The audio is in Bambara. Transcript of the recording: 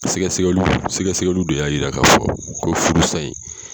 Sɛgɛsɛgɛliw sɛgɛsɛgɛliw de y'a yira k'a fɔ ko furusa in.